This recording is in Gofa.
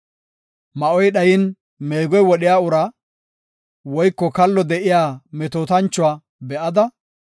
Ma7oy dhayin meegoy wodhiya uraa, woyko kallo de7iya metootanchuwa be7ada,